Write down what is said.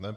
Ne.